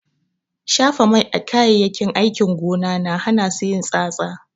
Shafa mai a kayayyakin aikin gona na hana su yin tsatsa.